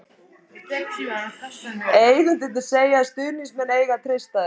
Eigendurnir segja að stuðningsmenn eigi að treysta þeim.